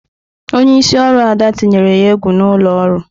Onye isi oru Ada tinyere ya egwu n'ụlọ ọrụ.